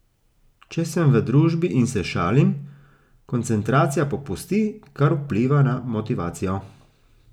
Če sem v družbi in se šalim, koncentracija popusti, kar vpliva na motivacijo.